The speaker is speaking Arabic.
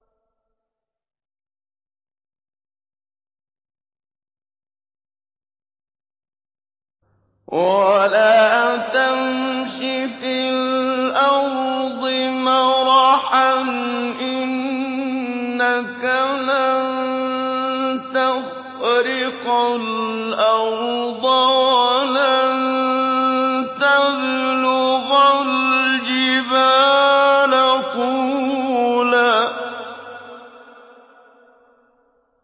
وَلَا تَمْشِ فِي الْأَرْضِ مَرَحًا ۖ إِنَّكَ لَن تَخْرِقَ الْأَرْضَ وَلَن تَبْلُغَ الْجِبَالَ طُولًا